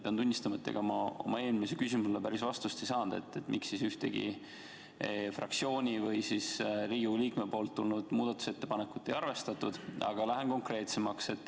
Pean tunnistama, et ega ma oma eelmisele küsimusele, miks ühtegi fraktsiooni või Riigikogu liikme poolt tulnud muudatusettepanekut ei arvestatud, päris vastust ei saanud, aga lähen konkreetsemaks.